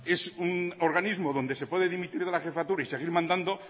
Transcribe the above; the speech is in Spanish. es un organismo donde se puede dimitir de la jefatura y seguir mandando